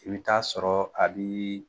I bɛ t'a sɔrɔ a bi